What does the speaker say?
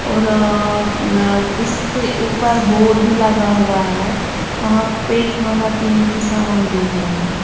और आ इसपे ऊपर बोर्ड भी लगा हुआ है वहां पे खाना पीने की समान भेज रहा है।